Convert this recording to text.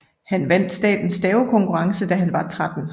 Han vandt statens stavekonkurrence da han var 13